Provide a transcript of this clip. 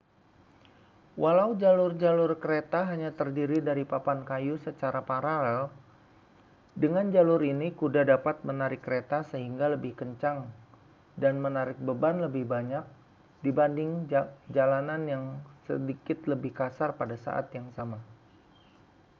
walau jalur-jalur kereta hanya terdiri dari papan kayu secara paralel dengan jalur ini kuda dapat menarik kereta sehingga lebih kencang dan menarik beban lebih banyak dibanding jalanan yang sedikit lebih kasar pada saat yang sama